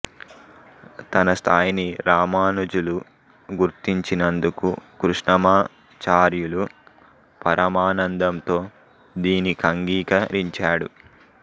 తన స్థాయిని రామానుజులు గుర్తించినందుకు కృష్ణమా చార్యులు పరమానందంతో దీనికంగీక రించాడు